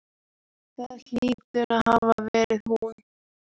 Það hlýtur að hafa verið hún.